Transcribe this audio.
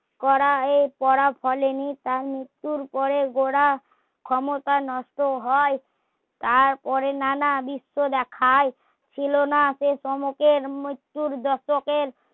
করা এ পড়া ফলে নি তার মৃত্যুর পরে গোড়া ক্ষমতা নষ্ট হয় তারপরে নানা দৃশ্য দেখায় ছিল না সে সমকের মৃত্যুর দশকের